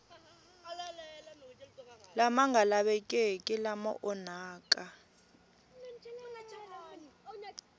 lama nga lavekeki lama onhaka